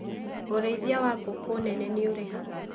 ũrĩithia wangũkũ nene nĩũrĩhaga.